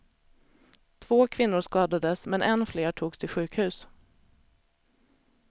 Två kvinnor skadades, men än fler togs till sjukhus.